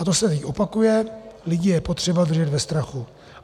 A to se teď opakuje, lidi je potřeba držet ve strachu.